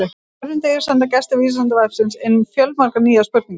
Á hverjum degi senda gestir Vísindavefsins inn fjölmargar nýjar spurningar.